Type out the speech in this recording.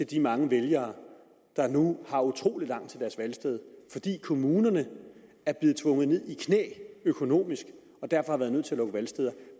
de mange vælgere der nu har utrolig langt til deres valgsted fordi kommunerne er blevet tvunget i knæ økonomisk og derfor har været nødt til at lukke valgsteder